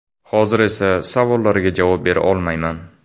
Hozir esa savollarga javob bera olmayman.